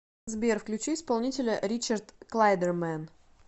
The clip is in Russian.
сбер включи исполнителя ричард клайдермэн